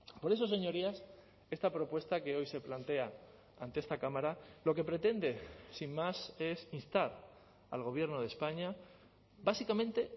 por eso señorías esta propuesta que hoy se plantea ante esta cámara lo que pretende sin más es instar al gobierno de españa básicamente